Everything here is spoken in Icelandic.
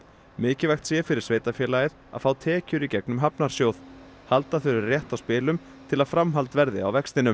mikilvægt sé fyrir sveitarfélagið að fá tekjur í gegnum hafnarsjóð halda þurfi rétt á spilum til að framhald verði á vextinum